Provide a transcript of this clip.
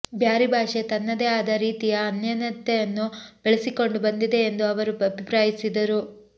ಬ್ಯಾರಿ ಭಾಷೆ ತನ್ನದೇ ಆದ ರೀತಿಯ ಅನನ್ಯತೆಯನ್ನು ಬೆಳೆಸಿಕೊಂಡು ಬಂದಿದೆ ಎಂದು ಅವರು ಅಭಿಪ್ರಾಯಿಸಿದರು